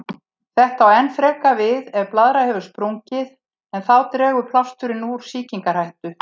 Þetta á enn frekar við ef blaðra hefur sprungið, en þá dregur plásturinn úr sýkingarhættu.